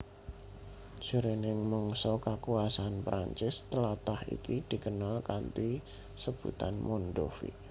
Jroning mangsa kakuwasan Prancis tlatah iki dikenal kanthi sebutan Mondovi